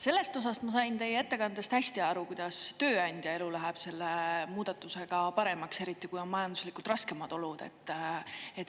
Sellest osast ma sain teie ettekandest hästi aru, kuidas tööandja elu läheb selle muudatusega paremaks, eriti kui on majanduslikult raskemad olud.